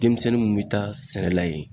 Denmisɛnnin mun be taa sɛnɛ la yen